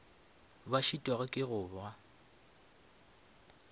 ba šitwago ke go ba